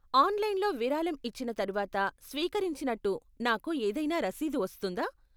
ఆన్లైన్లో విరాళం ఇచ్చిన తర్వాత స్వీకరించినట్టు నాకు ఏదైనా రసీదు వస్తుందా?